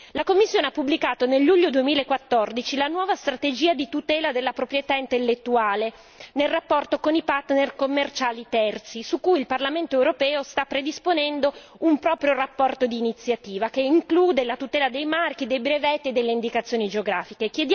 La Commissione ha pubblicato nel luglio 2014 la nuova strategia di tutela della proprietà intellettuale nel rapporto con i partner commerciali terzi, su cui il Parlamento europeo sta predisponendo una propria relazione d'iniziativa, che include la tutela dei marchi, dei brevetti e delle indicazioni geografiche.